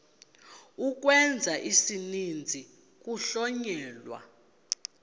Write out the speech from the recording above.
ukwenza isininzi kuhlonyelwa